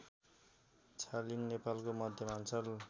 छालिङ नेपालको मध्यमाञ्चल